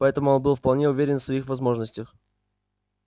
поэтому он был вполне уверен в своих возможностях